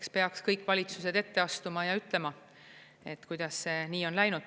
Eks peaks kõik valitsused ette astuma ja ütlema, kuidas see nii on läinud.